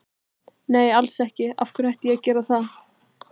Nei alls ekki, af hverju ætti ég að gera það?